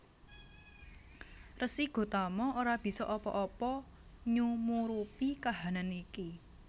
Resi Gotama ora bisa apa apa nyumurupi kahanan iki